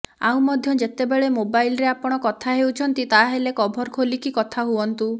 ଆଉ ମଧ୍ୟ ଯେତେବେଳେ ମୋବାଇଲ ରେ ଆପଣ କଥା ହେଉଛନ୍ତି ତାହାଲେ କଭର ଖୋଲିକି ହିଁ କଥା ହୁଅନ୍ତୁ